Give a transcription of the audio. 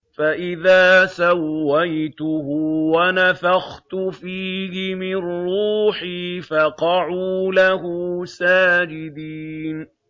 فَإِذَا سَوَّيْتُهُ وَنَفَخْتُ فِيهِ مِن رُّوحِي فَقَعُوا لَهُ سَاجِدِينَ